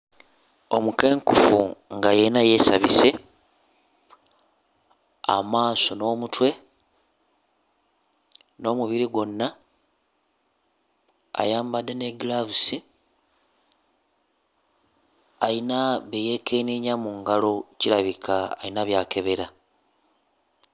Omukenkufu nga yenna yeesabise amaaso n'omutwe, n'omubiri gwonna, ayambadde ne giravusi, ayina bye yeekenneenya mu ngalo kirabika ayina by'akebera.